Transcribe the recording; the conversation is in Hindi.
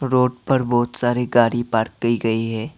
रोड पर बहुत सारी गाड़ी पार्क की गई है।